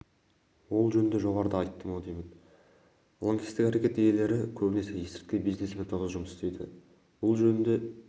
ол жөнінде жоғарыда айттым-ау деймін лаңкестік әрекет иелері көбінесе есірткі бизнесімен тығыз жұмыс істейді бұл жөнінде